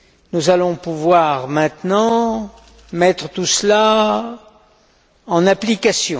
Nous allons pouvoir maintenant mettre tout cela en application.